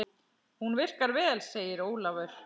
Hún virkar vel, segir Ólafur.